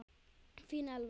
Þín Elfa.